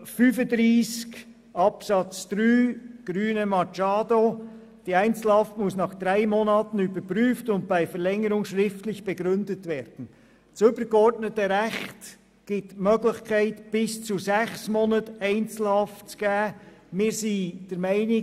Zu Artikel 35 Absatz 3 der Grünen: Das übergeordnete Recht gibt die Möglichkeit der Einzelhaft bis zu sechs Monaten.